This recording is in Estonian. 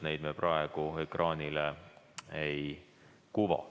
Neid me praegu ekraanile ei kuva.